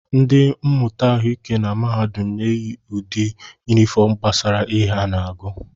Ndị mmụta ahụike na mahadum na-eyi ụdị yunifọm gbasara ihe ha na-agụ